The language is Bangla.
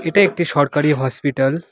এটা একটি সরকারি হসপিটাল ।